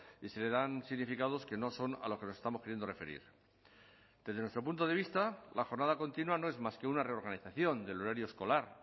y se le dan significados que no son a lo que nos estamos queriendo referir desde nuestro punto de vista la jornada continua no es más que una reorganización del horario escolar